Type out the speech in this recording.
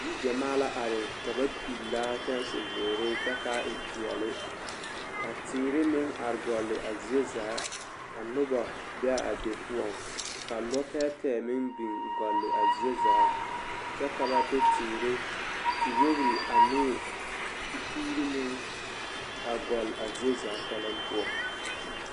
Yigyɛmaa la are ka ba pillaa kyɛnse zeere kyɛ k'a e peɛle ka teere meŋ are gɔlle a zie zaa ka noba be a be poɔŋ ka lɔtɛɛtɛɛ meŋ biŋ gɔlle a zie zaa kyɛ ka ba de teere, tewogiri ane tepuuri meŋ a gɔlle a zie zaa kpɛlɛm poɔ.